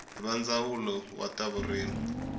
va ndzawulo wa ta vurimi